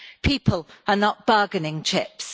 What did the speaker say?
People are not bargaining chips.